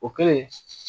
O kɛlen